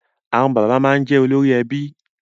Àwọn bàbá máa jẹ olórí ẹbí